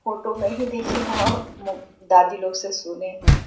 Photo मे ही देखे है और मो दादी लोग से सुने है।